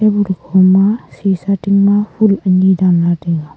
tebul khoma sisa tingma phul anyi danla taiga.